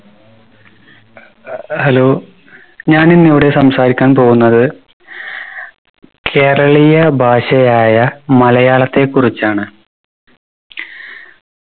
അഹ് hello ഞാൻ ഇന്ന് ഇവിടെ സംസാരിക്കാൻ പോകുന്നത് കേരളീയ ഭാഷയായ മലയാളത്തെ കുറിച്ചാണ്